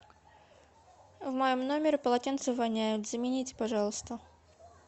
в моем номере полотенце воняет замените пожалуйста